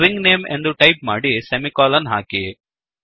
string name ಎಂದು type ಮಾಡಿ semicolon ಹಾಕಿ